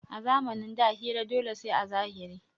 A zamanin da hira dole sai a zahiri